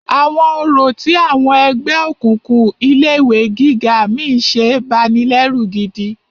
Àwọn orò tí àwọn ẹgbẹ́ òkùnkùn ilé ìwé gíga mí ń ṣe banilẹ́rù gidi.